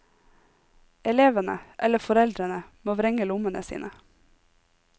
Elevene, eller foreldrene, må vrenge lommene sine.